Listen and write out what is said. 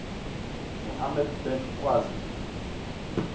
muhammad bin qasim